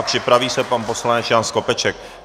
A připraví se pan poslanec Jan Skopeček.